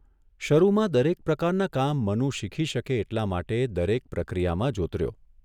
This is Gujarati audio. શરૂમાં દરેક પ્રકારનાં કામ મનુ શીખી શકે એટલા માટે દરેક પ્રક્રિયામાં જોતર્યો.